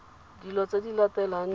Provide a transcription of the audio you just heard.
dilo tse di latelang di